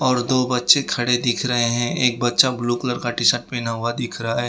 और दो बच्चे खड़े दिख रहे हैं एक बच्चा ब्लू कलर का टी शर्ट पहना हुआ दिख रहा है।